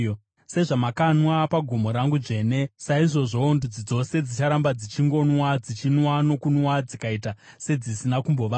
Sezvamakanwa pagomo rangu dzvene, saizvozvowo ndudzi dzose dzicharamba dzichingonwa; dzichanwa nokunwa dzikaita sedzisina kumbovapo.